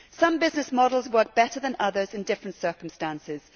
Some business models work better than others in different circumstances.